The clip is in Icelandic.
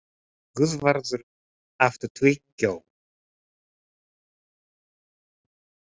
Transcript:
Guðvarður, áttu tyggjó?